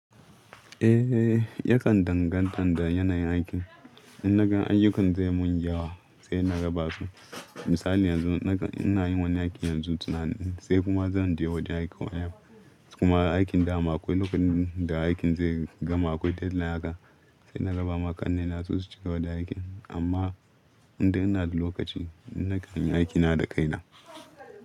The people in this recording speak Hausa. Eh, yakan danganta da yanayin aikin. In naka ayyukan zai mun yawo sai na raba su. Misali yanzu naka ina yin wani aiki yanzu tunani sai kuma zan je wajen aiki. Kuma aikin da akwai lokacin da aikin zai gama akwai deadline haka sai na raba ma ƙannena su cigaba da aikin. Amma inda ina da lokaci ina kai aiki na da kaina.